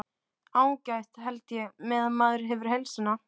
Ágætt held ég. meðan maður hefur heilsuna.